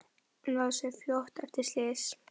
Náði sér fljótt eftir slys